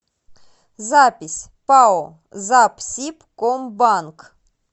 запись пао запсибкомбанк